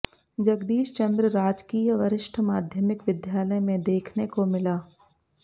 जगदीशचंद्र राजकीय वरिष्ठ माध्यामिक विद्यालय में देखने को मिला